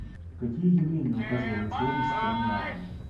какие явления указывали на сложность строения атома